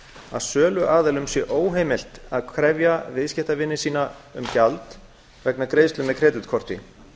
að söluaðilum sé óheimilt að krefja viðskiptavini sína um gjald vegna greiðslu með kreditkorti